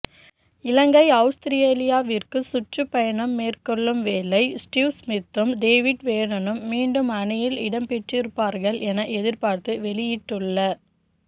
இலங்கை அவுஸ்திரேலியாவிற்கு சுற்றுப்பயணம் மேற்கொள்ளும் வேளை ஸ்டீவ் ஸ்மித்தும் டேவிட் வோர்னரும் மீண்டும் அணியில் இடம்பெற்றிருப்பார்கள் என எதிர்பார்ப்பு வெளியிட்டுள்ள